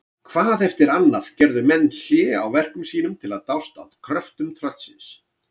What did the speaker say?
Hvað eftir annað gerðu menn hlé á verkum sínum til að dást að kröftum tröllsins.